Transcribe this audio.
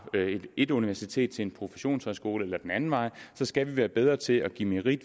et universitet til en professionshøjskole eller den anden vej skal vi være bedre til at give merit